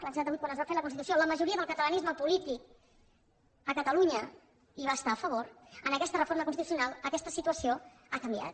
l’any setanta vuit quan es va fer la constitució la majoria del catalanisme polític a catalunya hi va estar a favor en aquesta reforma constitucional aquesta situació ha canviat